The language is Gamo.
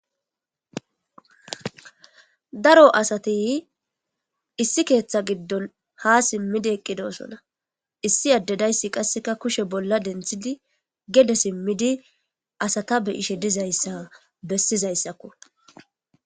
daro asati issi keeththa giddon ha simmidi eqqidosona issi addedayssi qasseka kushe bolla denthidi gede simmidi asata be'ishe dizayssa bessizayssakko